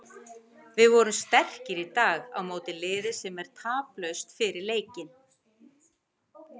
Við vorum sterkir í dag á móti liði sem er taplaust fyrir leikinn.